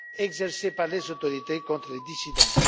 exercée par les autorités contre les dissidents.